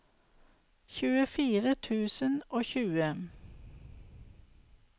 tjuefire tusen og tjue